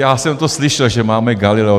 Já jsem to slyšel, že máme Galileo.